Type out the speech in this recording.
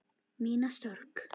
Mína sorg.